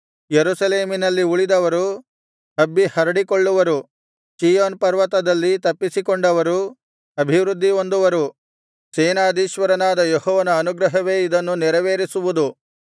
ಯೆರೂಸಲೇಮಿನಲ್ಲಿ ಉಳಿದವರು ಹಬ್ಬಿ ಹರಡಿಕೊಳ್ಳುವರು ಚೀಯೋನ್ ಪರ್ವತದಲ್ಲಿ ತಪ್ಪಿಸಿಕೊಂಡವರು ಅಭಿವೃದ್ದಿಹೊಂದುವರು ಸೇನಾಧೀಶ್ವರನಾದ ಯೆಹೋವನ ಅನುಗ್ರಹವೇ ಇದನ್ನು ನೆರವೇರಿಸುವುದು